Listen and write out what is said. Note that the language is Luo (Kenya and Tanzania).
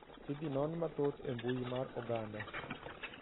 Idhinon mathoth e mbui mar oganda.